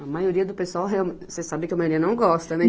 A maioria do pessoal, realme, você sabe que a maioria não gosta, né?